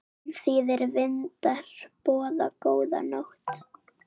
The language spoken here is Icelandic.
Ómþýðir vindar boða góða nótt.